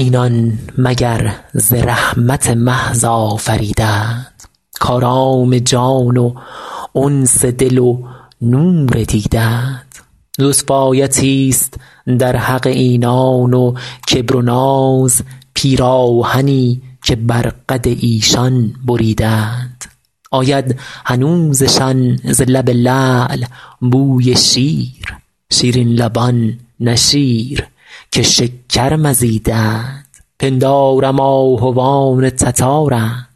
اینان مگر ز رحمت محض آفریده اند کآرام جان و انس دل و نور دیده اند لطف آیتی ست در حق اینان و کبر و ناز پیراهنی که بر قد ایشان بریده اند آید هنوزشان ز لب لعل بوی شیر شیرین لبان نه شیر که شکر مزیده اند پندارم آهوان تتارند